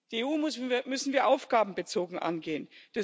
Die EU müssen wir aufgabenbezogen angehen.